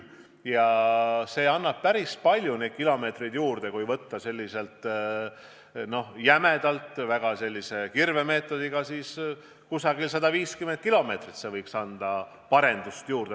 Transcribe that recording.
Nii saame päris palju kilomeetreid juurde, jämedalt öeldes või kirvemeetodiga lähenedes saame umbes 150 kilomeetrit paremaid teid.